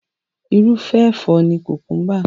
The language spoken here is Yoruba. Irúfẹ́ ẹ̀fọ́ ni kùkúḿbà.